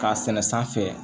K'a sɛnɛ sanfɛ